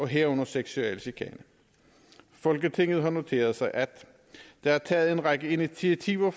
herunder seksuel chikane folketinget noterer sig at der er taget en række initiativer